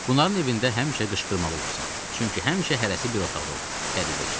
Bunların evində həmişə qışqırmalı olursan, çünki həmişə hərəsi bir otaqda olur, qəribə işdi.